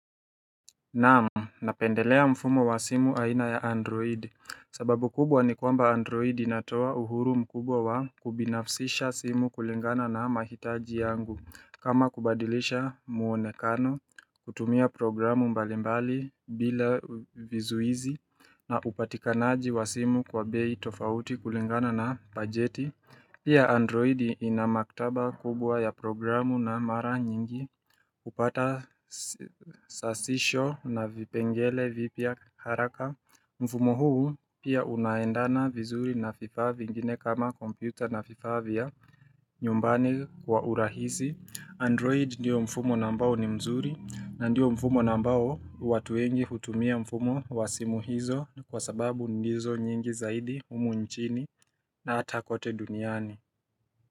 Naam, napendelea mfumo wa simu aina ya Android. Sababu kubwa ni kwamba Android inatoa uhuru mkubwa wa kubinafsisha simu kulingana na mahitaji yangu. Kama, kubadilisha muonekano, kutumia programu mbalimbali bila vizuizi na upatikanaji wa simu kwa bei tofauti kulingana na bajeti Pia, Android ina maktaba kubwa ya programu na mara nyingi hupata sasisho na vipengele vipya haraka Mfumo huu pia unaendana vizuri na vifaa vingine kama kompyuta, na vifaa vya nyumbani kwa urahisi. Android ndio mfumo mzuri, na ndio mfumo ambao watu wengi hutumia mfumo wa simu hizo. Kwa sababu ndizo nyingi zaidi humu nchini na hata kote duniani.